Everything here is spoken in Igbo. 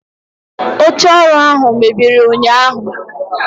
oche oru ahu mebiri unyahu